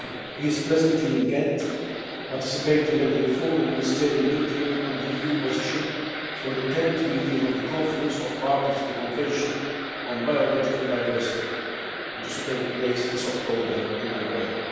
He is presently in Ghent, participating at the informal ministerial meeting on the EU position for the 10th meeting of the Conference of the Parties to the Convention on Biological Diversity, which is to take place this October in Nagoya.